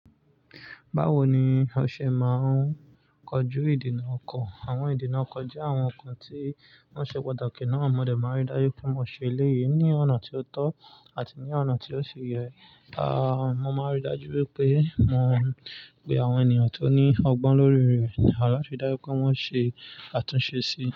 Báwo ni o ṣe máa ń kojú ìdènà ọkàn? Àwọn ìdènà ọkàn jẹ́ àwọn ọkàn tí wọ́n ṣe patàkí náà. Mọ dé máa n rí dájú pé mo ṣe eléyìí ní ọ̀nà tí ó tọ́ àti ní ọ̀nà tí ó ṣi yẹ. Ah, mo máa rí dájú pé mo pe àwọn ènìyàn tó ní ọgbọ́n lórí rẹ̀ láti dájú pé wọ́n ṣe àtúnṣe sí i.